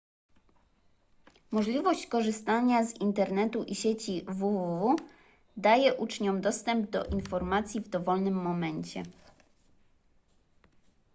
możliwość korzystania z internetu i sieci www daje uczniom dostęp do informacji w dowolnym momencie